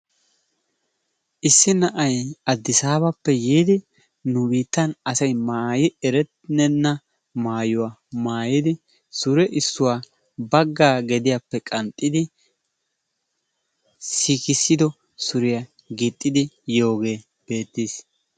issi na'ay adisaabappe yiidi nu biittan asay maayi erenna maayuwa maayidi surre issuwaa baggaa gediyaappe qanxxidi siikisido suuriyaa giixidi yoogee beettiis.